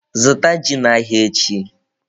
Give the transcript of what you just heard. Zụta ji n'ahịa echi!